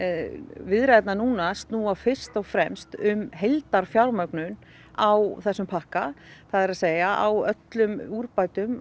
viðræðurnar núna snúa fyrst og fremst um heildarfjármögnun á þessum pakka það er að á öllum úrbótum